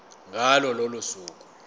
ngalo lolo suku